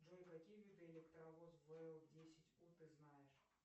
джой какие виды электровоз вл десять у ты знаешь